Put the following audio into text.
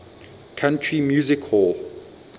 country music hall